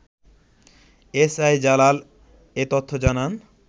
SI Jalal এ তথ্য জানান